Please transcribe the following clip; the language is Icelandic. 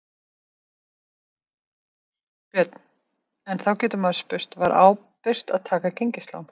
Björn: En þá getur maður spurt, var ábyrgt að taka gengislán?